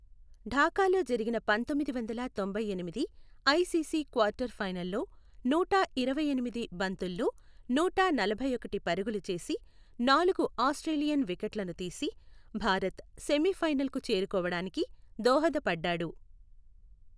ఢాకాలో జరిగిన పందొమ్మిది వందల తొంభై ఎనిమిది ఐసీసీ క్వార్టర్ ఫైనల్లో నూట ఇరవైఎనిమిది బంతుల్లో నూట నలభైఒకటి పరుగులు చేసి, నాలుగు ఆస్ట్రేలియన్ వికెట్లను తీసి, భారత్ సెమీఫైనల్కు చేరుకోవడానికి దోహదపడ్డాడు.